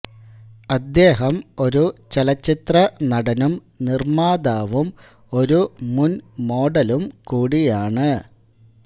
അദ്ദേഹം ഒരു ചലച്ചിത്ര നടനും നിർമ്മാതാവും ഒരു മുൻ മോഡലും കുടിയാണ്